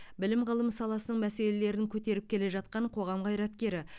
білім ғылым саласының мәселелерін көтеріп келе жатқан қоғам қайраткері